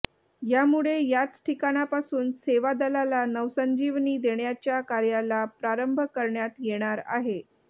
यामुळे याच ठिकाणापासून सेवा दलाला नवसंजीवनी देण्याच्या कार्याला प्रारंभ करण्यात येणार आहे